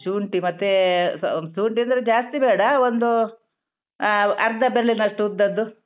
ಶುಂಠಿ ಮತ್ತೇ ಆ ಶುಂಠಿ ಅಂದ್ರೆ ಜಾಸ್ತಿ ಬೇಡ ಒಂದೂ ಆ ಅರ್ದ ಬೆರ್ಳಿನಷ್ಟು ಉದ್ದದ್ದು.